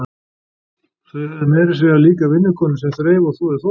Þau höfðu meira að segja líka vinnukonu sem þreif og þvoði þvotta.